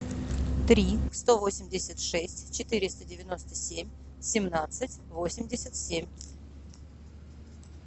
три сто восемьдесят шесть четыреста девяносто семь семнадцать восемьдесят семь